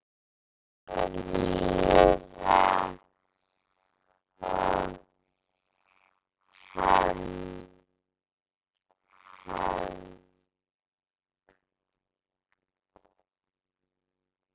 Hórarí og hefnd?